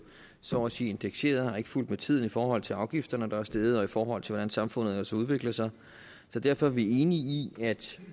så må sige indekseret og har ikke fulgt med tiden i forhold til afgifterne der er steget og i forhold til hvordan samfundet ellers har udviklet sig så derfor er vi enige i at